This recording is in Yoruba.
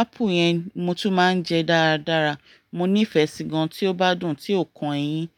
apple yẹn mo tún máa ń jẹ dáradára. Mo nífẹ̀ẹ́ sí gan tí ó bá dùn, tí ò kan eyín.